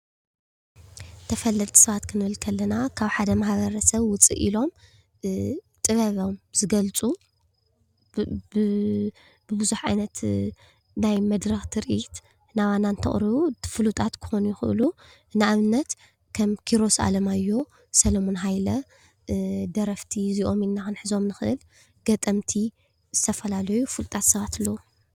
ተፈለጥቲ ሰባት ክንብል ከለና ካብ ሓደ ማሕበረሰብ ውፅእ ኢሎም ብጥበቦም ዝገልፁ ብቡዙሕ ዓይነት ናይ መድረኽ ትርኢት ናባና እንተቅርቡ ፍሉጣት ክኮኑ ይኸእሉ። ንአብነት ከም ኪሮስ ኣለማዮህ ፣ሰሎሙን ሃይለ ደረፍቲ እዚኦም ኢልና ክንሕዞም ንኽእል። ገጠምቲ ዝተፈላለዩ ፍሉጣት ሰባት ኣለዉ።